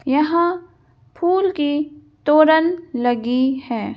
यहां फूल की तोरन लगी है।